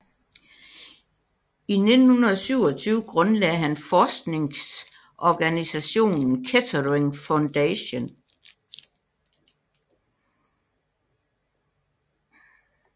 I 1927 grundlagde han forskningsorganisationen Kettering Foundation